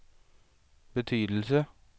betydelse